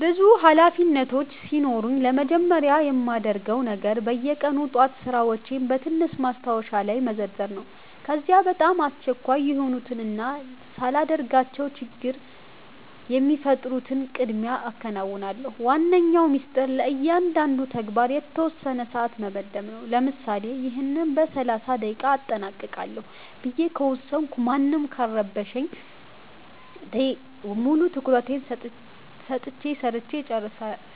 ብዙ ኃላፊነቶች ሲኖሩኝ ለመጀመሪያ የማደርገው ነገር በየቀኑ ጠዋት ሥራዎቼን በትንሽ ማስታወሻ ላይ መዘርዘር ነው። ከዚያ በጣም አስቸኳይ የሆኑትንና ሳላደርጋቸው ችግር የሚፈጥሩትን ቀድሜ አከናውናለሁ። ዋነኛው ሚስጥር ለእያንዳንዱ ተግባር የተወሰነ ሰዓት መመደብ ነው፤ ለምሳሌ "ይህን በ30 ደቂቃ አጠናቅቃለሁ" ብዬ ከወሰንኩ ማንም ካልረበሸኝ ሙሉ ትኩረቴን ሰጥቼ ሰርቸ